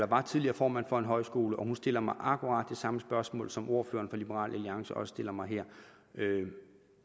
var tidligere formand for en højskole og hun stiller mig akkurat det samme spørgsmål som ordføreren for liberal alliance også stiller mig her